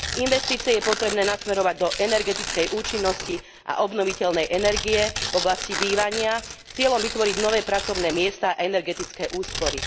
Investície je potrebné nasmerovať do energetickej účinnosti a obnoviteľnej energie v oblasti bývania s cieľom vytvoriť nové pracovné miesta a energetické úspory.